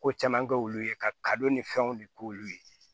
Ko caman kɛ olu ye ka ni fɛnw de k'olu ye